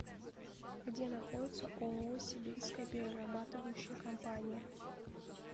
где находится ооо сибирская перерабатывающая компания